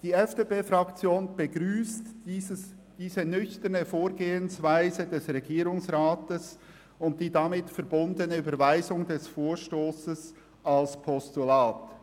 Die FDP-Fraktion begrüsst diese nüchterne Vorgehensweise des Regierungsrats und die damit verbundene Annahme des Vorstosses als Postulat.